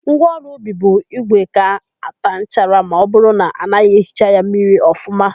Ngwaọrụ ubi bụ ígwè ga-àtá nchara ma ọbụrụ na anaghị ehicha ya mmiri ọfụma.